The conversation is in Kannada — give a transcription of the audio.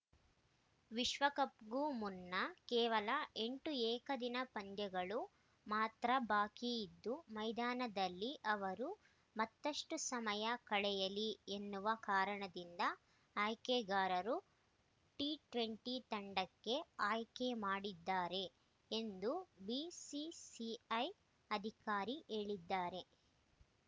ವಿಶ್ವಕಪ್‌ಗೂ ಮುನ್ನ ಕೇವಲ ಎಂಟು ಏಕದಿನ ಪಂದ್ಯಗಳು ಮಾತ್ರ ಬಾಕಿ ಇದ್ದು ಮೈದಾನದಲ್ಲಿ ಅವರು ಮತ್ತಷ್ಟುಸಮಯ ಕಳೆಯಲಿ ಎನ್ನುವ ಕಾರಣದಿಂದ ಆಯ್ಕೆಗಾರರು ಟಿಟ್ವೆಂಟಿ ತಂಡಕ್ಕೆ ಆಯ್ಕೆ ಮಾಡಿದ್ದಾರೆ ಎಂದು ಬಿಸಿಸಿಐ ಅಧಿಕಾರಿ ಹೇಳಿದ್ದಾರೆ